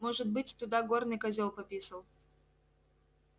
может быть туда горный козёл пописал